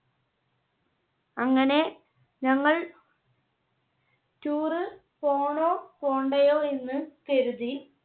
അങ്ങനെ ഞങ്ങൾ Tour പോണോ പോകണ്ടയോ എന്ന് കരുതി.